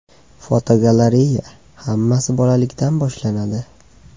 Fotogalereya: Hammasi bolalikdan boshlanadi.